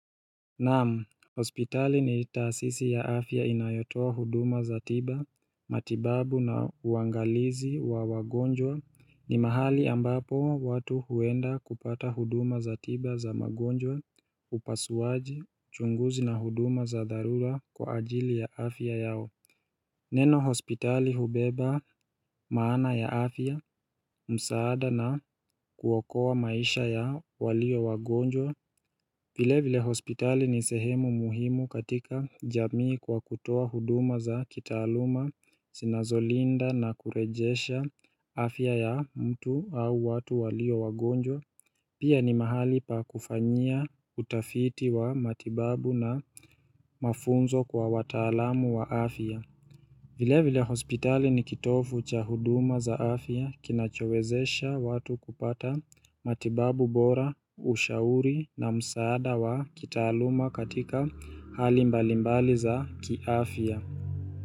Naam, hospitali ni taasisi ya afya inayotoa huduma za tiba, matibabu na uangalizi wa wagonjwa ni mahali ambapo watu huenda kupata huduma za tiba za wagonjwa, upasuaji, uchunguzi na huduma za dharura kwa ajiri ya afya yao. Neno hospitali hubeba maana ya afya, msaada na kuokoa maisha ya walio wagonjwa vile vile hospitali ni sehemu muhimu katika jamii kwa kutoa huduma za kitaaluma, zinazolinda na kurejesha afya ya mtu au watu walio wagonjwa Pia ni mahali pa kufanyia utafiti wa matibabu na mafunzo kwa wataalamu wa afya vile vile hospitali ni kitovu cha huduma za afya kinachowezesha watu kupata matibabu bora ushauri na msaada wa kitaaluma katika hali mbalimbali za kiafya.